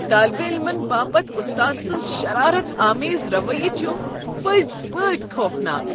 طٲلبہ عٔلممن باپت استاد سنٛد شرارت آمیز رویہٕ چھ پٔزۍ پٲٹھۍ خوفناک۔